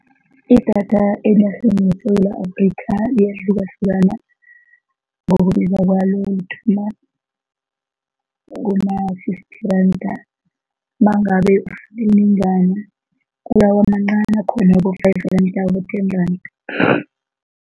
Idatha enarheni yeSewula Afrika iyahlukahlukana ngokwabiwa kwayo, uthola kuna-fifty randa mangabe kuya kwamancani akhona wabo-five randa, aba-ten randa.